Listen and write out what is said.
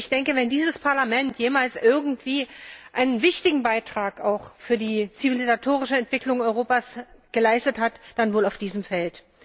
Ich denke, wenn dieses Parlament jemals irgendwie einen wichtigen Beitrag auch für die zivilisatorische Entwicklung Europas geleistet hat, dann wohl auf diesem Feld.